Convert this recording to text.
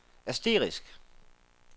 asterisk